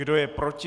Kdo je proti?